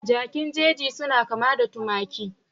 Jakin jeji suna kama da tumaki